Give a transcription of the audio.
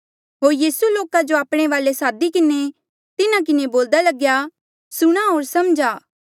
होर यीसूए लोका जो आपणे वाले सादी किन्हें तिन्हा किन्हें बोल्या सुणा होर समझा